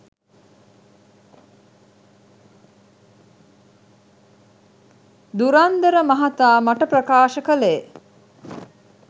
ධුරන්දර මහතා මට ප්‍රකාශ කළේ